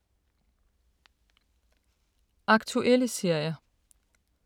Aktuelle serier